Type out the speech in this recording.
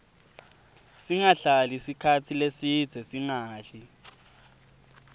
singahlali sikhatsi lesidze singadli